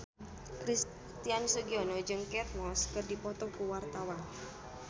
Christian Sugiono jeung Kate Moss keur dipoto ku wartawan